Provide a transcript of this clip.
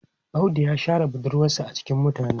Audu ya share budurwarsa a cikin mutane.